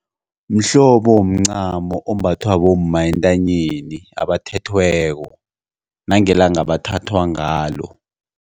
Mhlobo womncamo ombathwa bomma entanyeni abathethweko nangelanga abathathwa ngalo.